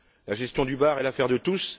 La gestion du bar est l'affaire de tous.